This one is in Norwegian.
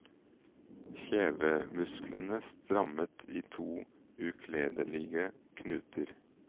Kjevemusklene strammet i to ukledelige knuter.